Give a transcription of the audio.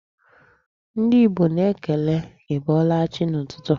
Ndị Igbo na-ekele ị bọọla chị n'ụtụtụ.